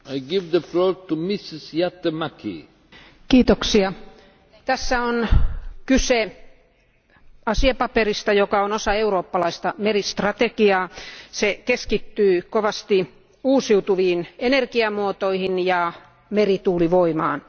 Arvoisa puhemies, tässä on kyse asiapaperista, joka on osa eurooppalaista meristrategiaa. Se keskittyy kovasti uusiutuviin energiamuotoihin ja merituulivoimaan.